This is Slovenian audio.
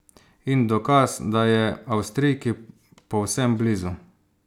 In dokaz, da je Avstrijki povsem blizu.